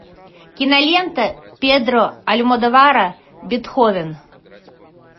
кинолента педро альмодовара бетховен